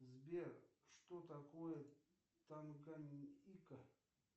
сбер что такое танганьика